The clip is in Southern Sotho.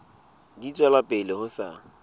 di tswela pele ho sa